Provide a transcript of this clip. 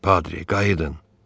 Padri, qayıdın.